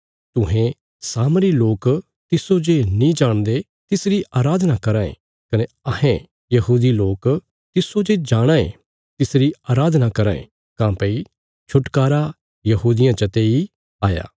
तुहें सामरी लोक तिस्सो जे नीं जाणदे तिसरी अराधना करां ए कने अहें यहूदी लोक तिस्सो जे जाणां ए तिसरी अराधना करां ए काँह्भई छुटकारा यहूदियां चते आ